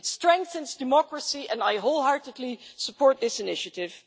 It strengthens democracy, and I wholeheartedly support this initiative.